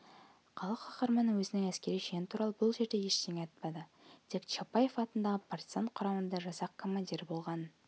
халық қаһарманы өзінің әскери шені туралы бұл жерде ештеңе айтпайды тек чапаев атындағы партизан құрамасында жасақ командирі болғанын